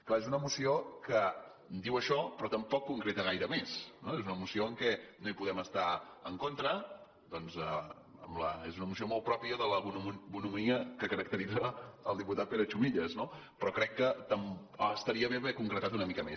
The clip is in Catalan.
clar és una moció que diu això però tampoc concre·ta gaire més no és una moció amb la qual no podem estar en contra ja que és una moció molt pròpia de la bonhomia que caracteritza el diputat pere chumillas no però crec que estaria bé haver concretat una mica més